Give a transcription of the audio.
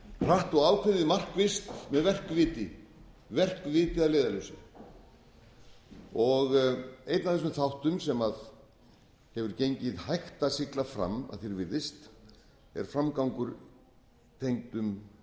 hratt og ákveðið markvisst með verkviti að leiðarljósi einn af þessum þáttum sem hefur gengið hægt að sigla fram að því er virðist er framgangur